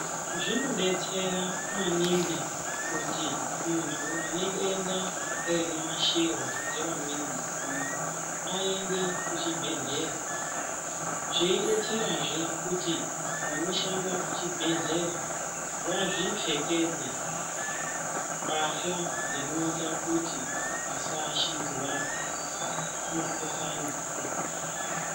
Zvinodetsera maningi kuti muntu une denda rinoashirwa ngevamweni vantu aende muchibhedhlera zveidetserazve kuti vanoshanda kuchibhedhlera vazvipfekedze mbahla dzinoita kuti vasaashidzwa mukhuhlane.